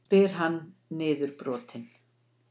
spyr hann niðurbrotinn.